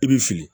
I b'i fili